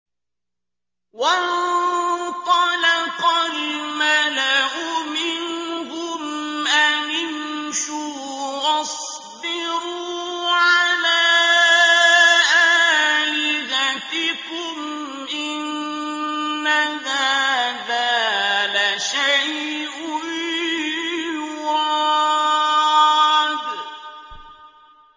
وَانطَلَقَ الْمَلَأُ مِنْهُمْ أَنِ امْشُوا وَاصْبِرُوا عَلَىٰ آلِهَتِكُمْ ۖ إِنَّ هَٰذَا لَشَيْءٌ يُرَادُ